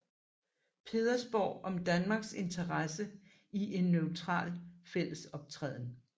Pedersborg om Danmarks interesse i en neutral fællesoptræden